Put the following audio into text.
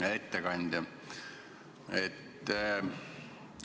Hea ettekandja!